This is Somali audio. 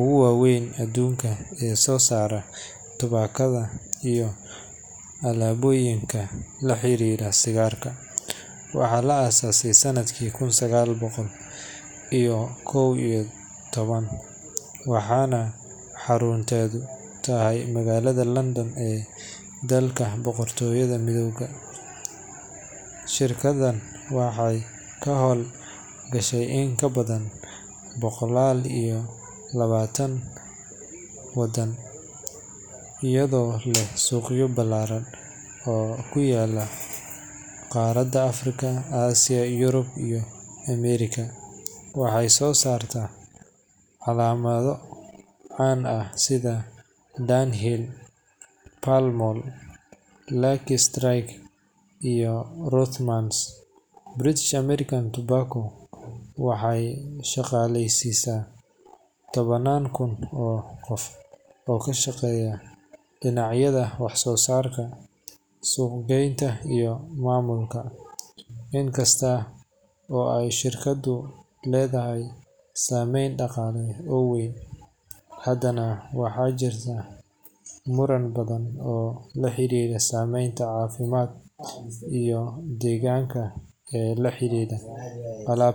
ugu waaweyn adduunka ee soo saara tubaakada iyo alaabooyinka la xiriira sigaarka. Waxaa la aasaasay sanadkii kun sagaal boqol iyo kow iyo toban, waxaana xarunteedu tahay magaalada London ee dalka Boqortooyada Midowday. Shirkaddan waxay ka howl gashaa in ka badan boqol iyo labaatan wadan, iyadoo leh suuqyo ballaaran oo ku kala yaalla qaaradaha Afrika, Aasiya, Yurub, iyo Ameerika. Waxay soo saartaa calaamado caan ah sida Dunhill, Pall Mall, Lucky Strike, iyo Rothmans. British American Tobacco waxay shaqaaleysiisaa tobanaan kun oo qof oo ka shaqeeya dhinacyada wax-soo-saarka, suuq-geynta, iyo maamulka. Inkasta oo ay shirkaddu leedahay saameyn dhaqaale oo weyn, haddana waxaa jirta muran badan oo la xiriira saameynta caafimaad iyo deegaanka ee la xidhiidha alaabteeda.